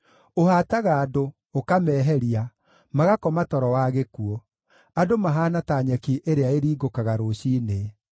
Ũhaataga andũ, ũkameeheria, magakoma toro wa gĩkuũ; andũ mahaana ta nyeki ĩrĩa ĩringũkaga rũciinĩ: